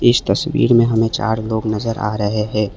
इस तस्वीर में हमे चार लोग नजर आ रहे है।